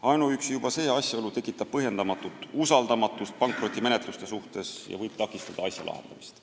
Ainuüksi see asjaolu tekitab põhjendamatut usaldamatust pankrotimenetluste suhtes ja võib takistada asja lahendamist.